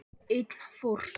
Einn fórst.